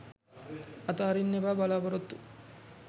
අතාරින්න එපා බලාපොරොත්තු